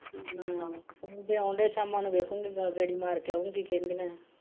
ਮੁੰਡੇ ਆਉਣ ਡੈ ਸ਼ਾਮਾਂ ਨੂੰ ਵੇਖੂੰਗੀ ਨਾਲ ਗੇੜੀ ਮਾਰ ਕੇ ਆਉਂ ਕਿ ਕਹਿੰਦਿਆਂ ਆ।